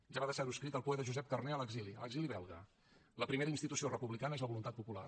ja va deixar ho escrit el poeta josep carner a l’exili a l’exili belga la primera institució republicana és la voluntat popular